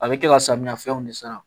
A bɛ kɛ ka samiyɛfɛnw de sara